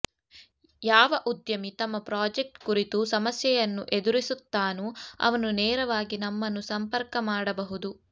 ಯಾವ ಉದ್ಯಮಿ ತಮ್ಮ ಪ್ರಾಜೆಕ್ಟ್ ಕುರಿತು ಸಮಸ್ಯೆಯನ್ನು ಎದುರಿಸುತ್ತಾನೋ ಅವನು ನೇರವಾಗಿ ನಮ್ಮನ್ನು ಸಂಪರ್ಕ ಮಾಡಬಹುದು